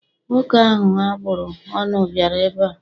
Nwoke ahụ a bụrụ ọnụ bịara ebe a.